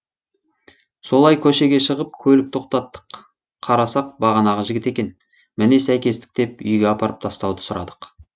солай көшеге шығып көлік тоқтаттық қарасақ бағанағы жігіт екен міне сәйкестік деп үйге апарып тастауды сұрадық